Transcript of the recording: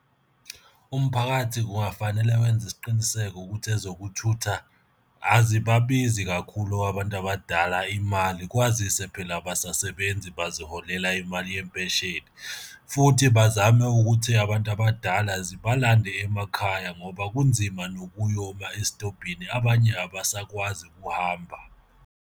Umphakathi kungafanele wenze isiqiniseko ukuthi ezokuthutha azibabizi kakhulu abantu abadala imali kwazise phela abasasebenzi baziholela imali yempesheni, futhi bazame ukuthi abantu abadala zibalande emakhaya ngoba kunzima nokuyoma esitobhini abanye abasakwazi ukuhamba.